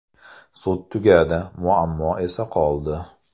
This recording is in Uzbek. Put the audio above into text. Sud tugadi, muammo esa qoldi.